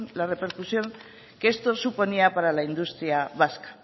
la repercusión que esto suponía para la industria vasca